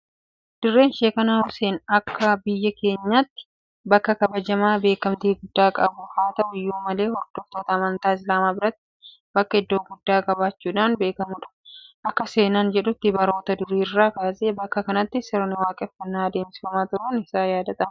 Dirreen shaakanaa Huseen akka biyya kanaatti bakka kabajamaa beekamtii guddaa qabudha. Haa ta'u iyyuu malee hordoftoota amantaa Islaamaa biratti bakka iddoo guddaa qabaachuudhaan beekamudha . Akka seenaan jedhutti baroota durii irraa kaasee bakka kanatti sirni waaqeffannaa adeemsifamaa turuun isaa niyaadatama.